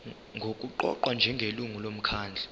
nokuqokwa njengelungu lomkhandlu